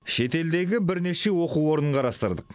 шетелдегі бірнеше оқу орнын қарастырдық